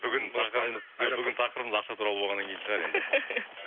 бүгін тақырыбымыз ақша туралы болғаннан кейін шығар енді